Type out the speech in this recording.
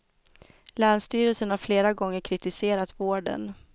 Länsstyrelsen har flera gånger kritiserat vården.